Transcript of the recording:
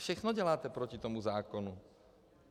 Všechno děláte proti tomu zákonu.